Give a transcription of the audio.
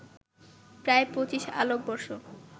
প্রায় ২৫ আলোকবর্ষ